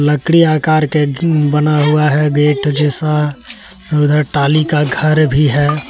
लकड़ी आकर के बना हुआ है गेट जैसा और उधर टाली का घर भी है।